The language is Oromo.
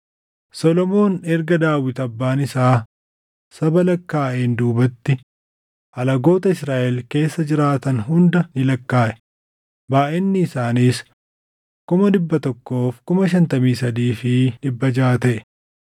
Solomoon erga Daawit abbaan isaa saba lakkaaʼeen duubatti alagoota Israaʼel keessa jiraatan hunda ni lakkaaʼe; baayʼinni isaaniis 153,600 taʼe.